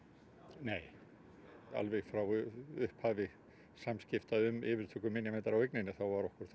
nei alveg frá upphafi samskipta um yfirtöku minjaverndar á eigninni var okkur